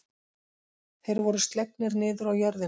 Þeir voru slegnir niður á jörðina.